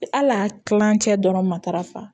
Hali a kilancɛ dɔrɔn matarafa